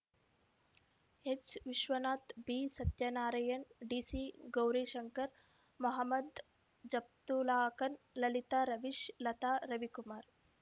H Vishwanath B Satyanarayan D C Gaurishankar Mohammed Japtullakhar Lalitha Ravish Latha Ravikumar